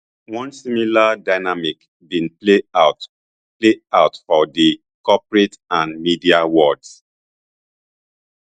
one similar dynamic bin play out play out for di corporate and media worlds